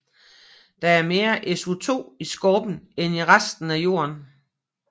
Der er mere SiO2 i skorpen end i resten af Jorden